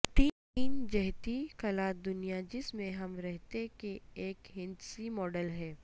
تین جہتی خلا دنیا جس میں ہم رہتے کے ایک ہندسی ماڈل ہے